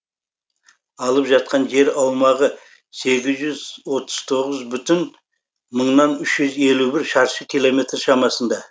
алып жатқан жер аумағы сегіз жүз отыз тоғыз бүтін мыңнан үш жүз елу бір шаршы километр шамасында